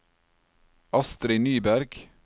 Astri Nyberg